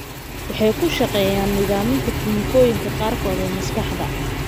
Waxay ku shaqeeyaan nidaaminta kiimikooyinka qaarkood ee maskaxda.